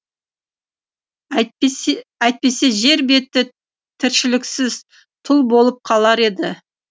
әйтпесе жер беті тіршіліксіз тұл болып қалар еді